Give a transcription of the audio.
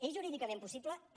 és jurídicament possible també